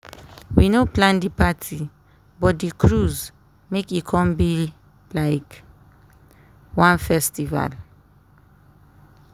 we no plan di parti but di cruise make e come be like one festival.